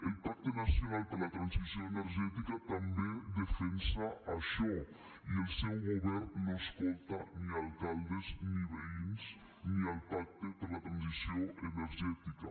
el pacte nacional per a la transició energètica també defensa això i el seu govern no escolta ni alcaldes ni veïns ni el pacte per a la transició energètica